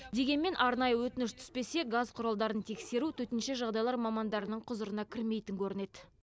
дегенмен арнайы өтініш түспесе газ құралдарын тексеру төтенше жағдайлар мамандарының құзырына кірмейтін көрінеді